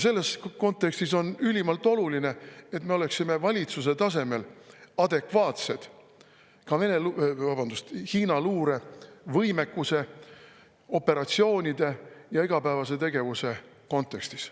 Selles kontekstis on ülimalt oluline, et me oleksime valitsuse tasemel adekvaatsed ka Hiina luure võimekuse, operatsioonide ja igapäevase tegevuse kontekstis.